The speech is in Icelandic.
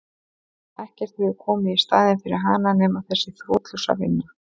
Ekkert hefur komið í staðinn fyrir hana nema þessi þrotlausa vinna.